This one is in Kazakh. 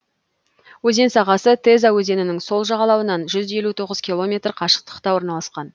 өзен сағасы теза өзенінің сол жағалауынан жүз елу тоғыз километр қашықтықта орналасқан